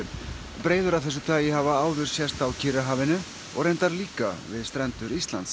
breiður af þessu tagi hafa áður sést í Kyrrahafinu og reyndar líka við strendur Íslands